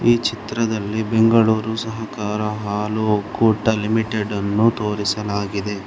ಈ ಚಿತ್ರದಲ್ಲಿ ಬೆಂಗಳೂರು ಸಹಕಾರ ಹಾಲು ಒಕ್ಕೂಟ ಲಿಮಿಟೆಡ್ ಅನ್ನು ತೋರಿಸಲಾಗಿದೆ.